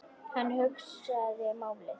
Hann hugsaði málið.